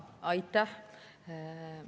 Aitäh!